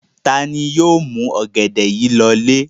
Ta ni yóò mú ọ̀gẹ̀dẹ̀ yìí lọlé?